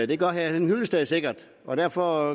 det gør herre henning hyllested sikkert og derfor